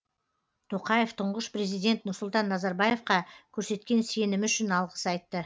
тоқаев тұңғыш президент нұрсұлтан назарбаевқа көрсеткен сенімі үшін алғыс айтты